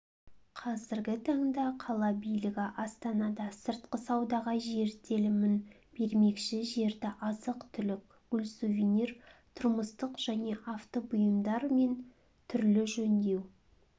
қазіргі таңда қала билігі астанада сыртқы саудаға жер телімін бермекші жерді азық-түлік гүл сувенир тұрмыстық және авто бұйымдар мен түрлі жөндеу